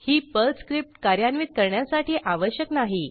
ही Perl script कार्यान्वित करण्यासाठी आवश्यक नाही